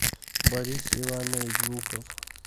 борис иванович жуков